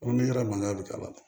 Ko ni yɛrɛ man bi ka ban